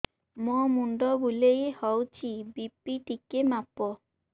ମୋ ମୁଣ୍ଡ ବୁଲେଇ ହଉଚି ବି.ପି ଟିକେ ମାପ